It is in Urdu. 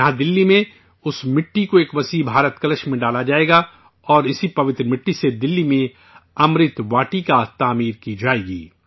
یہاں دہلی میں اُس مٹی کو ایک بڑے بھارت کلش میں ڈالا جائے گا اور اسی مقدس مٹی سے دہلی میں 'امرت واٹکا' کی تعمیر ہوگی